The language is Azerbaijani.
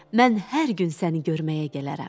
Mən hər gün səni görməyə gələrəm.